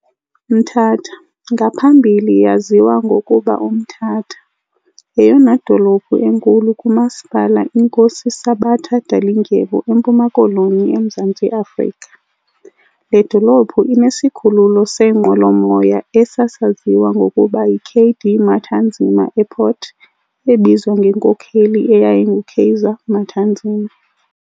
Mthatha, ngaphambili yaziwa ngokuba uMtata - yeyona dolophu enkulu kuMasipala iNkosi Sabata Dalindyebo eMpuma-Koloni eMzantsi Afrika. Le dolophu inesikhululo seenqwelo-moya esasaziwa ngokuba yi K.D. Matanzima Airport ebizwa ngenkokheli eyayingu Kaiser Matanzima.